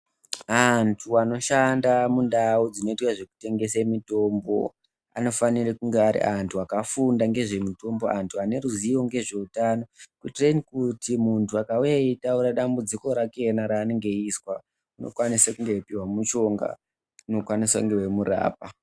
Antu vanoshanda mundau ,dzinoitwa zvekutengese mitombo anofanire kunge ari antu akafunda ngezve mitombo. Antu vaneruziwo ngezvehutano kuitireni kuti muntu akawuya eyitaura dambudziko rakena raanenge eyizwa unokwanise kunge eyipiwa mishonga unokwanisa kumurapa .